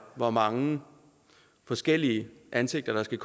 hvor mange forskellige ansigter den